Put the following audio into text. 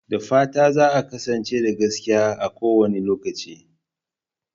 Da fatan za a kasance da gaskiya a kowane lokaci.